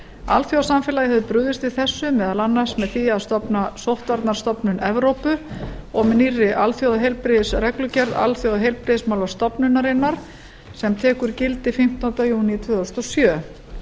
alþjóðasamfélagið hefur brugðist við þessu meðal annars með því að stofna sóttvarnastofnun evrópu og með nýrri alþjóðaheilbrigðisreglugerð alþjóðaheilbrigðismálastofnunarinnar sem tekur gildi fimmtánda júní tvö þúsund og sjö